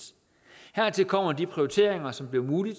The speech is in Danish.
hertil kommer de prioriteringer som bliver mulige